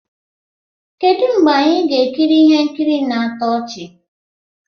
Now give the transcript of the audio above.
Kedu mgbe anyị ga-ekiri ihe nkiri na-atọ ọchị?